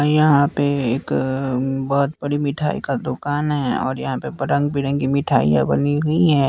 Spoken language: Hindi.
यहाँ पे एक अ बहुत बड़ी मिठाई का दुकान है और यहाँ पे रंग-बिरंगी मिठाइयाँ बनी हुई हैं।